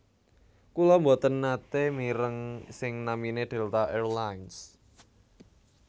Kula mboten nate mireng sing namine Delta Air Lines